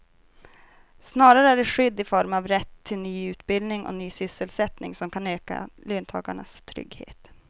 Snarare är det skydd i form av rätt till ny utbildning och ny sysselsättning som kan öka löntagarnas trygghet.